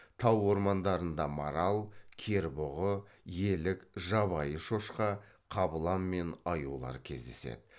тау ормандарында марал кербұғы елік жабайы шошқа қабылан мен аюлар кездеседі